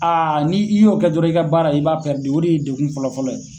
ni' i y'o kɛ dɔrɔɔn i ka baara i b'a o de ye degun fɔlɔfɔlɔ ye.